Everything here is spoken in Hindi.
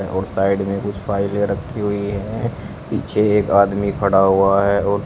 और साइड में कुछ फाइलें रखी हुई हैं पीछे एक आदमी खड़ा हुआ है और--